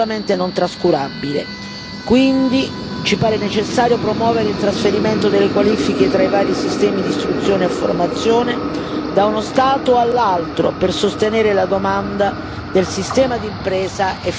Quindi ci pare necessario promuovere il trasferimento delle qualifiche tra i vari sistemi d'istruzione e formazione da uno Stato all'altro, per sostenere la domanda del sistema di impresa e favorire dunque l'occupazione.